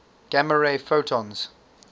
gamma ray photons